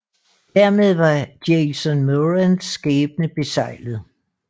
Dermed var Jason Morans skæbne beseglet